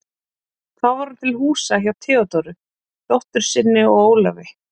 Þá var hún til húsa hjá Theódóru, dóttur sinni, og Ólafi.